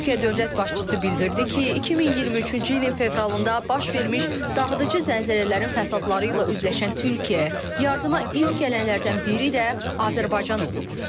Türkiyə dövlət başçısı bildirdi ki, 2023-cü ilin fevralında baş vermiş dağıdıcı zəlzələlərin fəsadları ilə üzləşən Türkiyəyə yardıma ilk gələnlərdən biri də Azərbaycan olub.